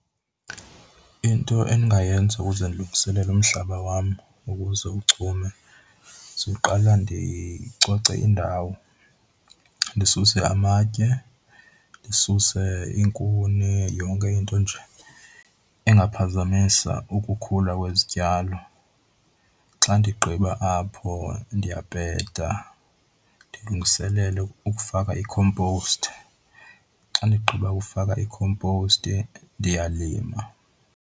Into endingayenza ukuze ndilungiselele umhlaba wam ukuze uchume siwuqala ndicoce indawo ndisuse amatye, ndisuse iinkuni yonke into nje engaphazamisa ukukhula kwezityalo. Xa ndigqiba apho, ndiyapeta, ndilungiselele ukufaka ikhomposti. Xa ndigqiba ukufaka ikhomposti ndiyalima.